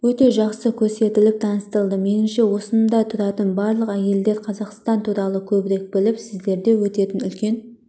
өте жақсы көрсетіп таныстырды меніңше осында тұратын барлық әйелдер қазақстан туралы көбірек біліп сіздерде өтетін үлкен